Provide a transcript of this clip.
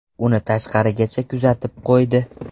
Uni tashqarigacha kuzatib qo‘ydi.